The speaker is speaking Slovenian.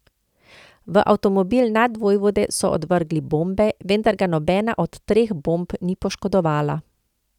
V avtomobil nadvojvode so odvrgli bombe, vendar ga nobena od treh bomb ni poškodovala.